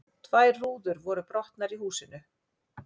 Tvær rúður voru brotnar í húsinu